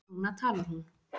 Núna talar hún.